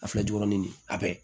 A filɛ jukɔrɔ ni nin a bɛɛ ye